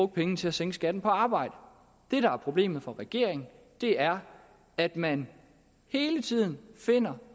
pengene til at sænke skatten på arbejde det der er problemet for regeringen er at man hele tiden finder